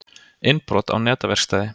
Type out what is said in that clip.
Innbrot á netaverkstæði